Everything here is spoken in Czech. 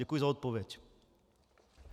Děkuji za odpověď.